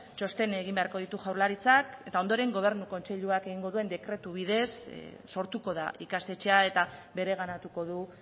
txosten egin beharko ditu jaurlaritzak eta ondoren gobernu kontseiluak egingo duen dekretu bidez sortuko da ikastetxea eta bereganatuko du